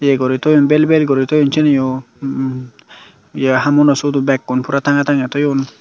ye guri toyon bel bel guri toyon siyeniyo hmm ye hamuno siyodo bekkun puro tangey tangey toyon.